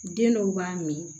Den dɔw b'a mi